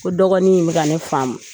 Ko dɔgɔnin in be ka ne faamu.